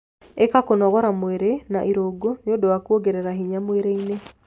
Ika kũnogora mwĩrĩ na irungo nĩũndũ wa kuongerera hinya mwĩrĩ-ini